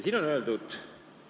Siin on öeldud: "...